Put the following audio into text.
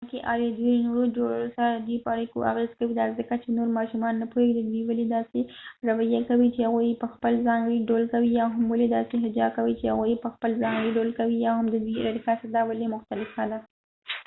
کومکې آلی ددوي د نورو جوړو سره ددوي په اړیکو اغیز کوي دا ځکه چې نور ماشومان نه پوهیږی چې دوي ولی داسې رويه کوي چې هغوي یې په خپل ځانګړی ډول کوي یا هم ولی داسې حجا کوي چې هغوي یې په خپل ځانګړی ډول کوي یا هم ددوي د ارتقا سطحه ولی مختلفه ده